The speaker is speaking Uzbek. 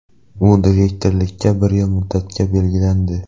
U direktorlikka bir yil muddatga belgilandi.